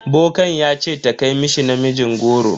Bokan ya ce ta kai mishi namijin goro.